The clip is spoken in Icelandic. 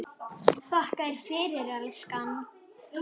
Þakka þér fyrir, elskan.